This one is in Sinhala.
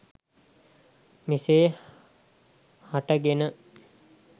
මෙසේ හට ගෙන